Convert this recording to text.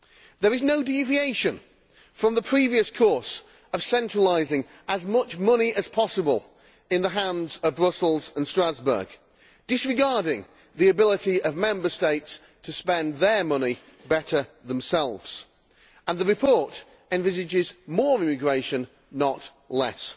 There is no deviation from the previous course of centralising as much money as possible in the hands of Brussels and Strasbourg, disregarding the ability of Member States to spend their money better themselves, and the report envisages more immigration, not less.